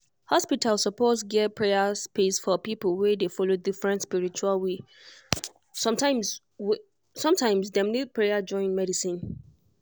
hospital suppose get prayer space for people wey dey follow different spiritual way. sometimes way. sometimes dem need prayer join medicine.